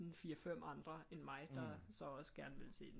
Sådan fire fem andre end mig der så også gerne ville se den